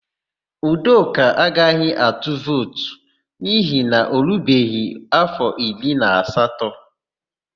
Udoka agaghị atu vootu n'ihi na o rubeghị áfọ iri na asatọ.